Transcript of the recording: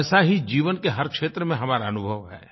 वैसा ही जीवन के हर क्षेत्र में हमारा अनुभव है